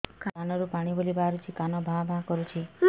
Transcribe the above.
କାନ ରୁ ପାଣି ଭଳି ବାହାରୁଛି କାନ ଭାଁ ଭାଁ କରୁଛି